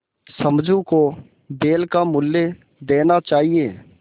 समझू को बैल का मूल्य देना चाहिए